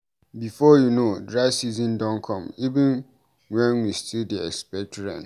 Before you know, dry season don come even wen we still dey expect rain.